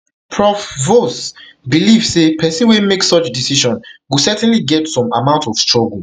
prof vose believe say pesin wey make such decision go certainly get some amount of struggle